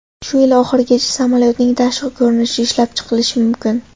Shu yil oxirigacha samolyotning tashqi ko‘rinishi ishlab chiqilishi mumkin.